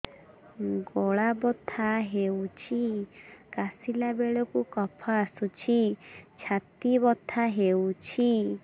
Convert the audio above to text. ଗଳା ବଥା ହେଊଛି କାଶିଲା ବେଳକୁ କଫ ଆସୁଛି ଛାତି ବଥା ହେଉଛି